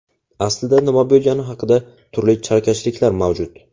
Aslida nima bo‘lgani haqida turli chalkashliklar mavjud.